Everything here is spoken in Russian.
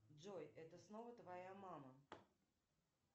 джой это снова твоя мама